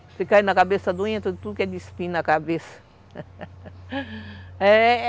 Você cai na cabeça doente, tudo que é de espinho na cabeça. É...